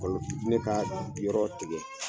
Kɔlɔki jinɛ ka yɔrɔ tigɛ.